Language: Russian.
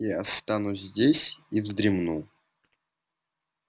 я останусь здесь и вздремну